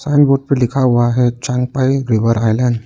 Board पे लिखा हुआ है चांगपाई रिवर आईलैंड ।